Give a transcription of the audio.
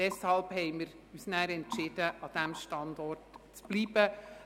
Deshalb haben wir uns entschieden, an diesem Standort zu bleiben.